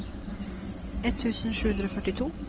ett tusen sju hundre og førtito